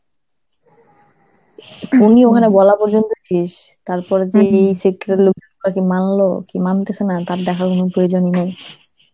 উনি ওখানে বলাবলি তারপরে যে শিক্ষার লোক ওটা কি মানলো কি মানতেছে না তার দেখার কোনো প্রয়োজনই নাই.